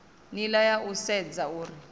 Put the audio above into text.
nila ya u sedza uri